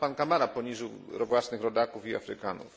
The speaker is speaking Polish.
To sam pan Camara poniżył własnych rodaków i Afrykanów.